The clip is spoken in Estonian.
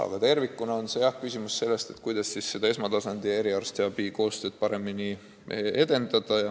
Aga tervikuna on küsimus jah selles, kuidas esmatasandi tohtrite ja eriarstide koostööd paremini edendada.